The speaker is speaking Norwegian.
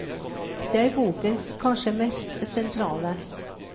Det er bokens kanskje mest sentrale.